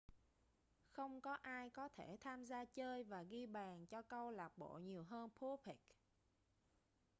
không có ai có thể tham gia chơi và ghi bàn cho câu lạc bộ nhiều hơn bobek